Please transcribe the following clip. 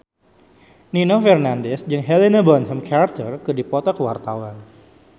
Nino Fernandez jeung Helena Bonham Carter keur dipoto ku wartawan